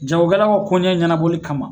Jagokɛlaw ka koɲɛ ɲɛnabɔli kama